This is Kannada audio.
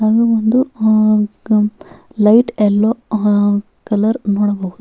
ಹಾಗೆ ಒಂದು ಅಹ್ ಕಂ ಲೈಟ್ ಎಲ್ಲೊ ಕಲರ್ ನೋಡಬಹುದು.